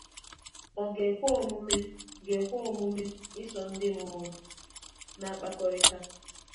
Ọ̀ ga-ekwe omume ga-ekwe omume iso ndị mmụọ na-akpakọrịta?